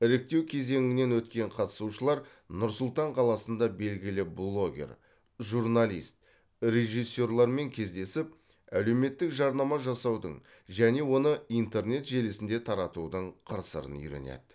іріктеу кезеңінен өткен қатысушылар нұр сұлтан қаласында белгілі блогер журналист режиссерлармен кездесіп әлеуметтік жарнама жасаудың және оны интернет желісінде таратудың қыр сырын үйренеді